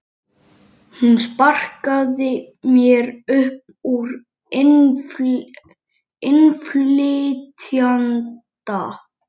Hún sparkaði mér upp úr innflytjenda